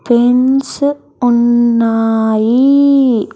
Pens ఉన్నాయి.